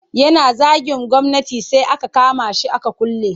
Yana zagin gwamnati sai aka kama shi aka kulle.